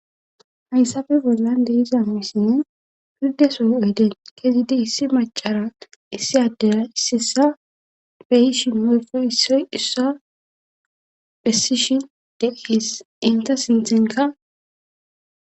Hayssafe bollan deiza muysinne pirdesoy oyde kezidi issi macara issi addera ississa beyishin moyfo issoy issa phessishin deees inta sinthenka.